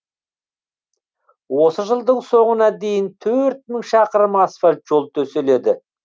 осы жылдың соңына дейін төрт мың шақырым асфальт жол төселеді